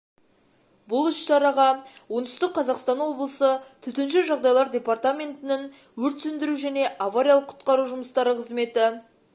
бұл іс-шараға оңтүстік қазақстан облысы төтенше жағдайлар департаментінің өрт сөндіру және авариялық құтқару жұмыстары қызметі